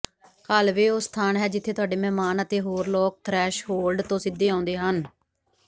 hallway ਉਹ ਸਥਾਨ ਹੈ ਜਿੱਥੇ ਤੁਹਾਡੇ ਮਹਿਮਾਨ ਅਤੇ ਹੋਰ ਲੋਕ ਥਰੈਸ਼ਹੋਲਡ ਤੋਂ ਸਿੱਧੇ ਆਉਂਦੇ ਹਨ